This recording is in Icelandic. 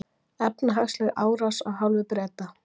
Efnahagsleg árás af hálfu Breta